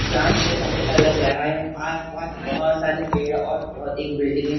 चाम के समय का लग रहा है आस पास बहोत सारे पेड़ और बहोत एक बिल्डिंग है।